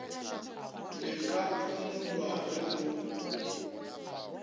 le ka phumulwa ge go